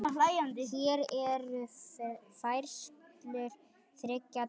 Hér eru færslur þriggja daga.